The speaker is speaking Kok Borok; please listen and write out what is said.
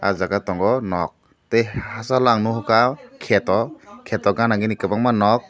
aw jaaga tongo nok tai hasal ang nuhuka keto gana gini kwbangma nok.